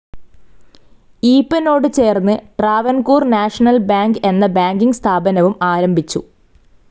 ഈപ്പനോട് ചേർന്ന് Travancore national bank എന്ന banking സ്ഥാപനവും ആരംഭിച്ചു.